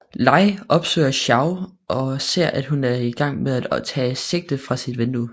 Lei opsøger Xiaoyu og ser at hun er i gang med at tage sigte fra sit vindue